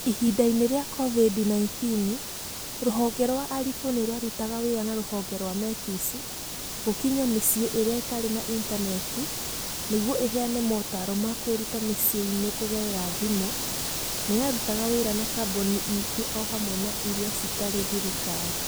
Ihinda-inĩ rĩa COVID-19, Ruhonge rwa Arifu nĩ rwarutaga wĩra na Ruhonge rwa Metis gũkinyĩra mĩciĩ ĩrĩa ĩtarĩ na intaneti nĩguo ĩheane mataaro ma kwĩruta mĩciĩ-inĩ kũgerera thimũ; nĩ yarutaga wĩra na kambuni ingĩ o hamwe na irĩa citarĩ thirikari.